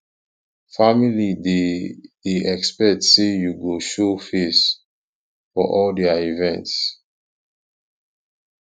family dey dey expect say you go show face for all their events